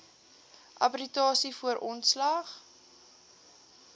arbitrasie voor ontslag